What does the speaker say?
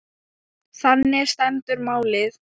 Þannig stendur málið.